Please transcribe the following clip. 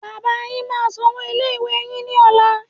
Bàbáa yín máa sanwó ilé ìwé yín ní ọ̀la.